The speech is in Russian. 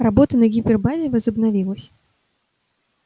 работа на гипербазе возобновилась